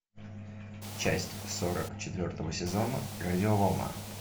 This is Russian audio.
часть сорок четвертого сезона радиоволна